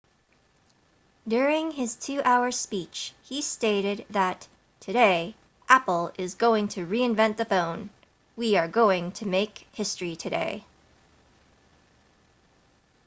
during his 2 hour speech he stated that today apple is going to reinvent the phone we are going to make history today